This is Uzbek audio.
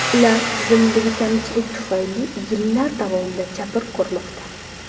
Ular tizimdagi kamchilik tufayli yillar davomida jabr ko‘rmoqda.